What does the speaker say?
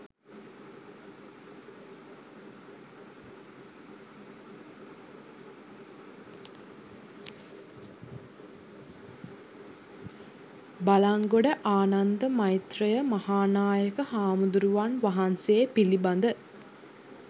බළන්ගොඩ ආනන්ද මෛත්‍රෙය මහා නායක හාමුදුරුවන් වහන්සේ පිළිබඳ